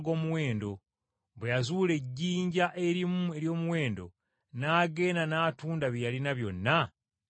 bwe yazuula ejjinja erimu ery’omuwendo n’agenda n’atunda bye yalina byonna n’aligula.